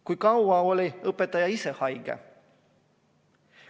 Kui kaua oli õpetaja ise haige?